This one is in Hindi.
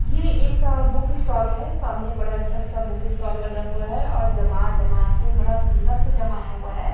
ये एक बुक स्टॉल है सामने बड़ा अच्छा सा बुक स्टाल लगा हुआ है और जमा जमा के बड़ा सुंदर से जमाया हुआ है।